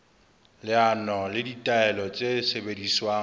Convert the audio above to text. leano le ditaelo tse sebediswang